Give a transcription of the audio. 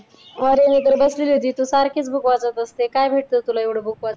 अरे मी तर बसलेली होती. तू सारखीचं book वाचत असते. काय भेटतं तुला एवढं book वाचून?